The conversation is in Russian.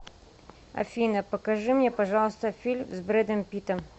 афина покажи мне пожалуйста фильм с бредом питтом